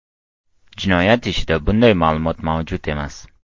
Jinoyat ishida bunday ma’lumot mavjud emas.